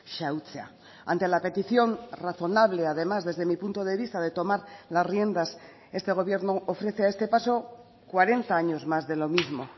xahutzea ante la petición razonable además desde mi punto de vista de tomar las riendas este gobierno ofrece a este paso cuarenta años más de lo mismo